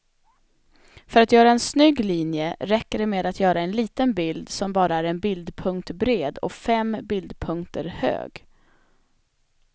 För att göra en snygg linje räcker det med att göra en liten bild som bara är en bildpunkt bred och fem bildpunkter hög.